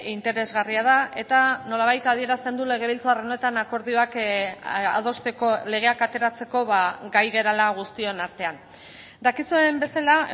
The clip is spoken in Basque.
interesgarria da eta nolabait adierazten du legebiltzar honetan akordioak adosteko legeak ateratzeko gai garela guztion artean dakizuen bezala